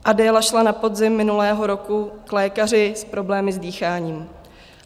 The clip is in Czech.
Adéla šla na podzim minulého roku k lékaři s problémy s dýcháním.